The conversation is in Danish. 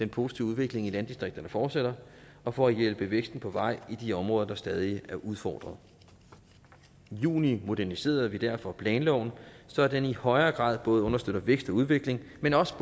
positive udvikling i landdistrikterne fortsætter og for at hjælpe væksten på vej i de områder der stadig er udfordret i juni moderniserede vi derfor planloven så den i højere grad både understøtter vækst og udvikling men også